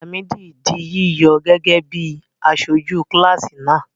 Làmídì di yíyọ gẹ́gẹ́ bí aṣojú kíláàsì náà.